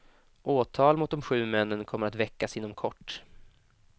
Åtal mot de sju männen kommer att väckas inom kort.